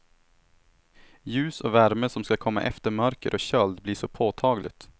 Ljus och värme som ska komma efter mörker och köld blir så påtagligt.